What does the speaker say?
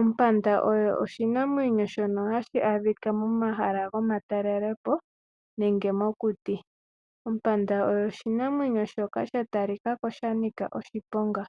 Ompanda oyo oshinamwenyo shono hashi adhika momahala gomatalelepo nenge mokuti, Ompanda oyo oshinamwenyo shoka sha talikako shanika oshiponga,